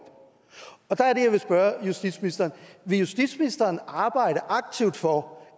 der er det jeg vil spørge justitsministeren vil justitsministeren arbejde aktivt for